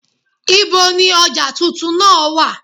Ibo ni ọjà tuntun náà wà?